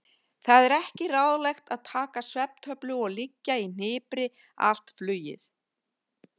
Það er ekki ráðlegt að taka svefntöflu og liggja í hnipri allt flugið.